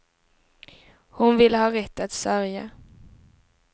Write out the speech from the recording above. Hon ville ha rätt att sörja.